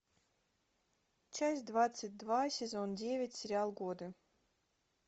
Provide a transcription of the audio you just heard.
часть двадцать два сезон девять сериал годы